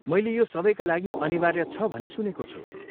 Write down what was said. मैले यो सबैका लागि अनिवार्य छ भनी सुनेको छु।